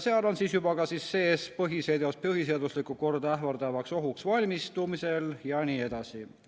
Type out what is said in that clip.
Seal on siis sees ka "põhiseaduslikku korda ähvardavaks ohuks valmistumisel" jne.